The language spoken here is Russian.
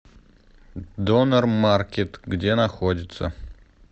донер маркет где находится